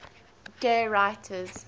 gay writers